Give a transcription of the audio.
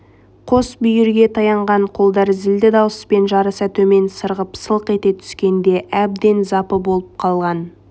қос бүйірге таянған қолдар зілді дауыспен жарыса төмен сырғып сылқ ете түскенде әбден запы болып қалған